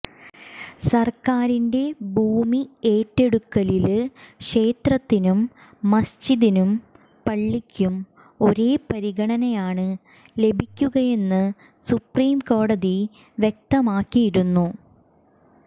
സര്ക്കാരിന്റെ ഭൂമി ഏറ്റെടുക്കലില് ക്ഷേത്രത്തിനും മസ്ജിദിനും പള്ളിക്കും ഒരേ പരിഗണനയാണ് ലഭിക്കുകയെന്ന് സുപ്രിം കോടതി വ്യക്തമാക്കിയിരുന്നു